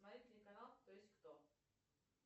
смотреть телеканал кто есть кто